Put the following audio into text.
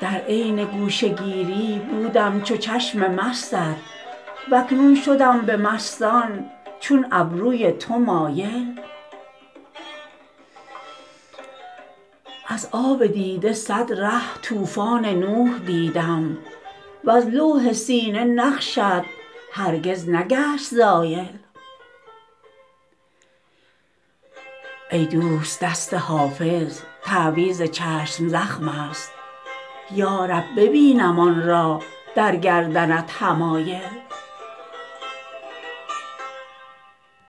در عین گوشه گیری بودم چو چشم مستت و اکنون شدم به مستان چون ابروی تو مایل از آب دیده صد ره طوفان نوح دیدم وز لوح سینه نقشت هرگز نگشت زایل ای دوست دست حافظ تعویذ چشم زخم است یا رب ببینم آن را در گردنت حمایل